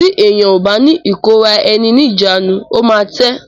Tí èyàn ó bá ní ìkóra ẹni níjàánu ó máa tẹ́.